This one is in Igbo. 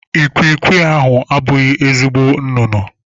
Ikwikwii ahụ abụghị ezigbo nnụnụ.